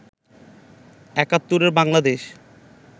একাত্তরে বাংলাদেশে